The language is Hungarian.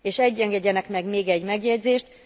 És engedjenek meg még egy megjegyzést.